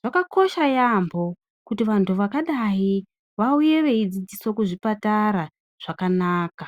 xvakakosha yaambo kuti vanthu vakadai vauye veidzidziswa kuzvipatara zvakanaka.